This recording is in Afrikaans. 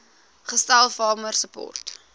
gestel farmer support